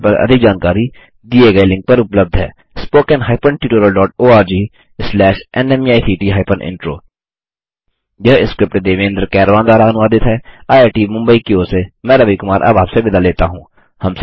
इस मिशन पर अधिक जानकारी दिए गए लिंक पर उपलब्ध है httpspoken tutorialorgNMEICT Intro यह स्क्रिप्ट देवेन्द्र कैरवान द्वारा अनुवादित हैआईआईटी मुंबई की ओर से मैं रवि कुमार अब आपसे विदा लेता हूँ